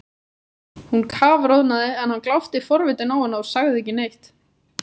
Hún kafroðnaði en hann glápti forvitinn á hana og sagði ekki neitt.